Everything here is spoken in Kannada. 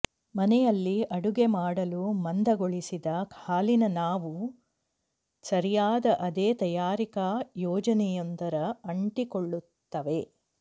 ಮನೆಯಲ್ಲಿ ಅಡುಗೆ ಮಾಡಲು ಮಂದಗೊಳಿಸಿದ ಹಾಲಿನ ನಾವು ಸರಿಯಾದ ಅದೇ ತಯಾರಿಕಾ ಯೋಜನೆಯೊಂದರ ಅಂಟಿಕೊಳ್ಳುತ್ತವೆ